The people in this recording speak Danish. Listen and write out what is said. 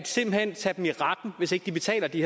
simpelt hen at tage dem i retten hvis ikke de betaler de